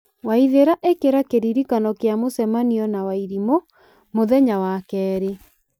waithĩra ĩkĩra kĩririkano kĩa mũcemanio na wairimũ mũthenya wa kerĩ